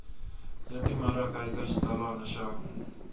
ya timaraka eka xitsalwana xa